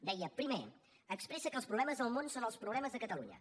deia primer expressa que els problemes del món són els problemes de catalunya